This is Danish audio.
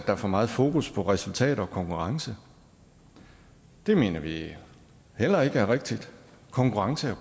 er for meget fokus på resultater og konkurrence det mener vi heller ikke er rigtigt konkurrence er